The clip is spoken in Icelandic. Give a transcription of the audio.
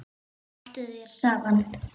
Haltu þér saman